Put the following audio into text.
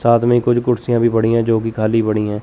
साथ में कुछ कुर्सियां भी पड़ी है जो कि खाली पड़ी है।